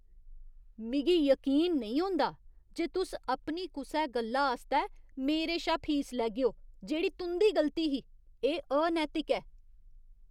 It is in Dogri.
मिगी यकीन नेईं होंदा जे तुस अपनी कुसै गल्ला आस्तै मेरे शा फीस लैगेओ जेह्ड़ी तुं'दी गलती ही। एह् अनैतिक ऐ।